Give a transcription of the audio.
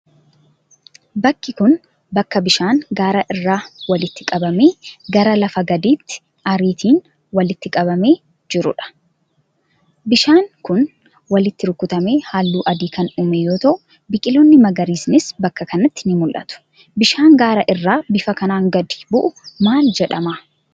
Bkki kun ,bakka bishaan gaara irraa walitti qabamee gra lafa gadiitti ariitiin walitti qabamee jiruu dha. Bishaan kun, walitti rukutamee haalluu adii kan uume yoo ta'u, biqiloonni magariisnis bakka kanatti ni mul'atu. Bishaan gaara irraa bifa kanaan gadi bu'u maal jedhama?